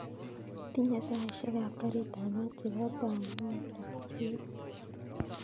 Itinye saishek ab garit ab maat chebo beaumont tx